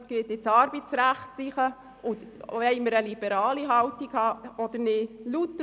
Oder wollen wir lieber eine liberale Haltung einnehmen?